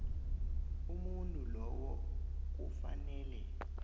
umuntu lowo kufanele